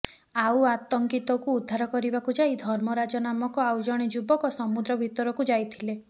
ଆଉ ଅଙ୍କିତଙ୍କୁ ଉଦ୍ଧାର କରିବାକୁ ଯାଇ ଧର୍ମରାଜ ନାମକ ଆଉ ଜଣେ ଯୁବକ ସମୁଦ୍ର ଭିତରକୁ ଯାଇଥିଲେ